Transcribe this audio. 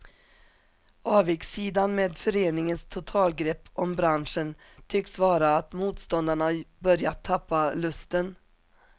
Avigsidan med föreningens totalgrepp om branschen tycks vara att motståndarna börjat tappa lusten.